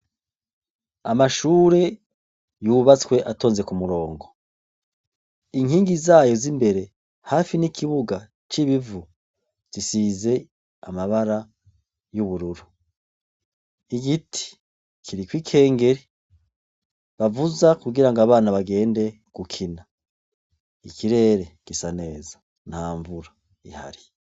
Amashure yubatswe atonze ku murongo. Inkingi zayo z'imbere hafi n'ikibuga c'ibivu zisize amabara y'ubururu. Igiti kiriko ikengeri bavuza kugira ngo abana bagende gukina. Ikirere gisa neza nta nvura ihari.